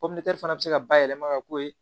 fana bɛ se ka bayɛlɛma ka k'o ye